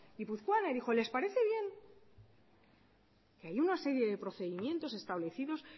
guipuzcoana y dijo les parece bien hay una serie de procedimientos establecidos